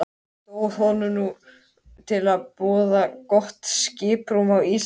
Stóð honum nú til boða gott skiprúm á Ísafirði.